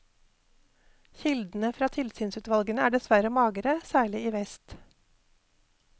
Kildene fra tilsynsutvalgene er dessverre magre, særlig i vest.